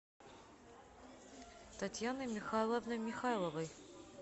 татьяной михайловной михайловой